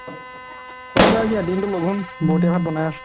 খুৱা বুৱা কি আৰু দিনতো লঘোন বৌ এতিয়া ভাত বনাই আছে